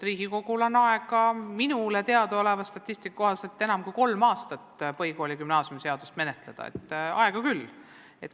Riigikogul on minule teadaoleva statistika kohaselt aega kolm aastat põhikooli- ja gümnaasiumiseadust menetleda, nii et aega on küll.